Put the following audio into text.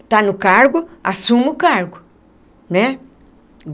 Está no cargo, assuma o cargo né.